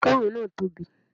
Kèké náà tóbi